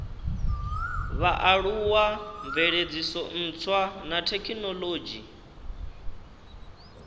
vhaaluwa mveledziso ntswa na thekinolodzhi